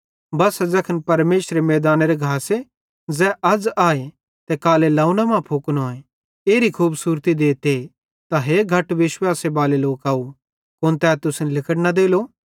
बस्सा ज़ैखन परमेशरे मैइदानेरो घास ज़ै अज़ आए ते कालां लौवंने मां फुकनोए एरी खूबसूरती देते त हे घट विश्वासे बाले लोकव कुन तै तुसन लिगड़ न देलो